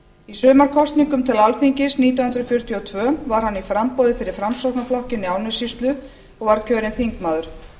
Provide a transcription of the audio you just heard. í sumarkosningum til alþingis nítján hundruð fjörutíu og tvö var hann í framboði fyrir framsóknarflokkinn í árnessýslu og var kjörinn þingmaður